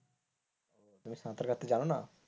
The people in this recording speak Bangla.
তুমি সাঁতার কাটতে জানো না?